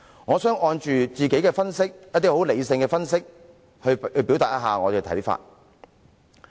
我想按照自己一些很理性的分析來表達我的看法。